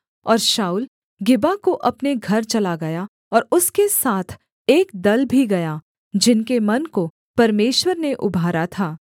और शाऊल गिबा को अपने घर चला गया और उसके साथ एक दल भी गया जिनके मन को परमेश्वर ने उभारा था